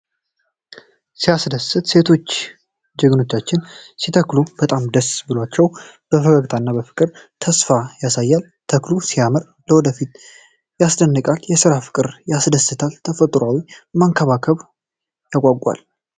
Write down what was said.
ሲያስደስት! ሴቶቹ ችግኞችን ሲተክሉ በጣም ደስ ብሏቸዋል። ፈገግታቸው ፍቅር እና ተስፋ ያሳያል። ተክሉ ሲያምር፣ ለወደፊት ያስደንቃል። የሥራ ፍቅር ያስደስታል። ተፈጥሮን መንከባከብ ያጓጓል።